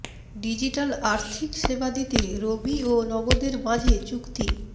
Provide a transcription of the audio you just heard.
digital আর্থিক সেবা দিতে রবি ও নগদের মাঝে চুক্তি